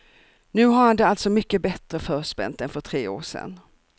Nu har han det alltså mycket bättre förspänt än för tre år sen.